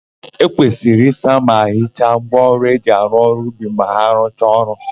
E kwesịrị ịsa ma hicha ngwaọrụ eji arụ ọrụ ubi ma a rụcha ọrụ.